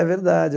É verdade.